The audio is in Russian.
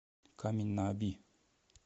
камень на оби